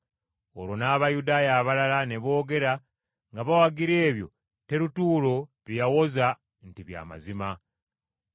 Olwo n’Abayudaaya abalala ne boogera nga bawagira ebyo Terutuulo bye yawoza nti bya mazima.